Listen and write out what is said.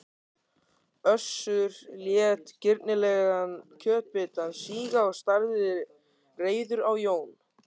Össur lét girnilegan kjötbitann síga og starði reiður á Jón